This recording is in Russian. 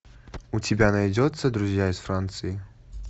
у тебя найдется друзья из франции